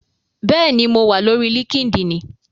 Bẹ́ẹ̀ni, mo wà lórí líkídíìnì